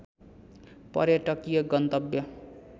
पर्यटकीय गन्तव्य